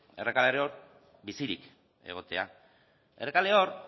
errekaleor bizirik egotea errekaleor